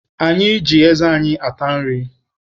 Anyị ji eze ata nri.